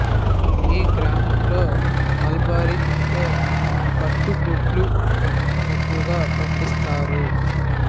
ఈ గ్రామంలో మల్బరి అంటే పట్టు గ్రుడ్ల పెంపకం ఎక్కువగా పండిస్థరు